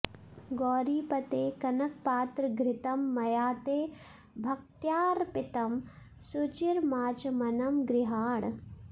गौरीपते कनकपात्र घृतं मया ते भक्त्यार्पितं सुचिरमाचमनं गृहाण